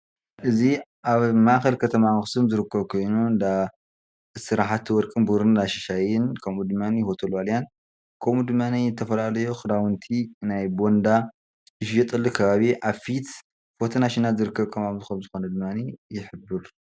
እዚ አብ ማእከል ከተማ አክሱም ዝርከብ ኮይኑ እንዳ ስራሕቲ ወርቅን ቡርርን እንዳ ሻሽይን ከምኡ ደማ ሆቴል ዋልያን ከምኡ ደማ ዝተፈላለዩ ክዳውንቲ ናይ ቦንዳ ክዳውንቲ ዝሽየጠሉ ከባኪ አብ ፊት ፎቶ ናሽናል ዝርከብ ከም ዝኾነ ይሕብር፡፡